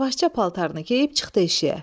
Yavaşca paltarını geyib çıxdı eşiyə.